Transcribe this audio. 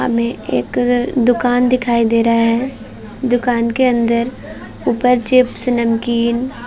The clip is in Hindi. हमें एक दुकान दिखाई दे रहा है। दुकान के अंदर ऊपर चिप्स नमकीन --